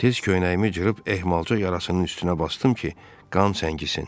Tez köynəyimi cırıb ehmalca yarasının üstünə basdım ki, qan çəngisin.